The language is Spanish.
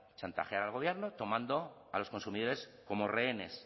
chantajear al gobierno tomando a los consumidores como rehenes